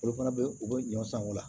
Olu fana bɛ u bɛ ɲɔn san o la